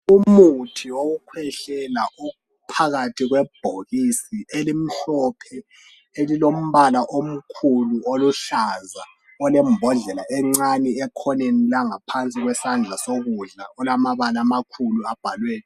Umuthi wokukhwehlela ophakathi kwebhokisi elimhlophe elilombala omkhulu oluhlaza olembodlela encane ekhoneni langaphansi kwesandla sokudla olamabala amakhulu abhaliweyo